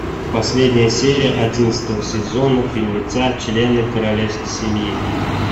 последняя серия одиннадцатого сезона фильмеца члены королевской семьи